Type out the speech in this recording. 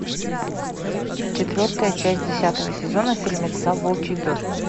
четвертая часть десятого сезона фильмеца волчий дождь